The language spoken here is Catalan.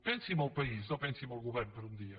pensi en el país no pensi en el govern per un dia